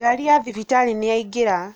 ngari ya thibitarĩ nĩyaingĩra